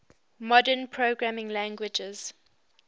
modern programming languages